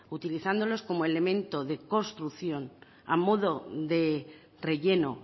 utilizándolos como elemento de construcción a modo de relleno